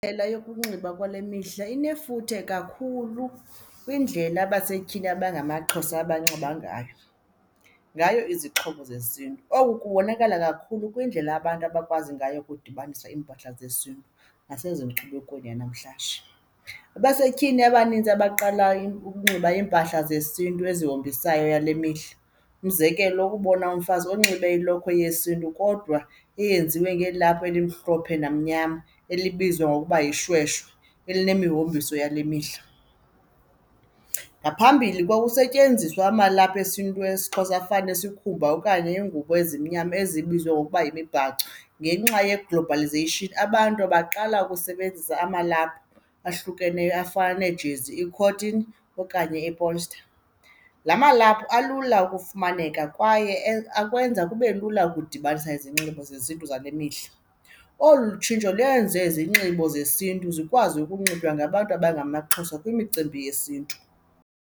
Indlela yokunxiba kwale mihla inefuthe kakhulu kwindlela abasetyhini abangamaXhosa abanxiba ngayo, ngayo izixhobo zesiNtu. Oku kubonakala kakhulu kwindlela abantu abakwazi ngayo ukudibanisa iimpahla zesiNtu nasezinkubekweni yanamhlanje. Abasetyhini abanintsi abaqalayo ukunxiba iimpahla zesiNtu ezazihombisayo yale mihla, umzekelo ukubona umfazi unxibe ilokhwe yesiNtu kodwa eyenziwe ngelaphu elimhlophe namnyama elibizwa ngokuba yishweshwe eline mihombiso yale mihla. Ngaphambili kwakusetyenziswa amalaphu esiNtu esiXhosa afana nsikhumba okanye iingubo ezimnyama ezibizwa ngokuba yimibhaco. Ngenxa ye-globalization, abantu baqala ukusebenzisa amalaphu ahlukeneyo afana neejezi, i-cotton okanye iipolsta. La malaphu alula ukufumaneka kwaye akwenza kube lula ukudibanisa izinxibo zesiNtu zale mihla. Olu tshintsho lwenze izinxibo zesiNtu zikwazi ukunxitywa ngabantu abangamaXhosa kwimicimbi yesiNtu.